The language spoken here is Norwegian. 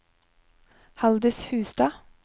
Haldis Hustad